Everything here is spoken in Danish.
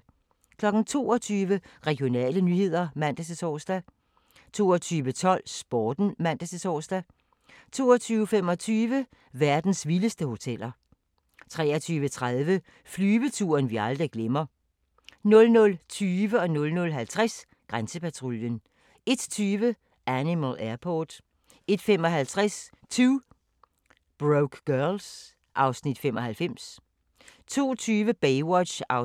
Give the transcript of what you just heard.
22:00: Regionale nyheder (man-tor) 22:12: Sporten (man-tor) 22:25: Verdens vildeste hoteller 23:30: Flyveturen vi aldrig glemmer 00:20: Grænsepatruljen 00:50: Grænsepatruljen 01:20: Animal Airport 01:55: 2 Broke Girls (Afs. 95) 02:20: Baywatch (46:243) 03:10: